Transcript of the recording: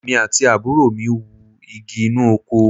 Èmi àti àbúrò mi wú igi inú oko